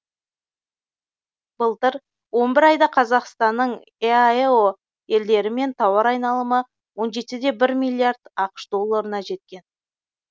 былтыр он бір айда қазақстанның еаэо елдерімен тауар айналымы он жетіде бір миллиард ақш долларына жеткен